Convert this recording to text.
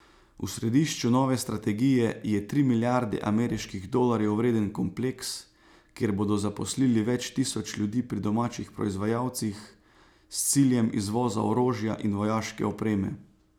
V središču nove strategije je tri milijarde ameriških dolarjev vreden kompleks, kjer bodo zaposlili več tisoč ljudi pri domačih proizvajalcih s ciljem izvoza orožja in vojaške opreme.